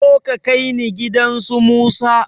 Zo ka kaini gidan su musa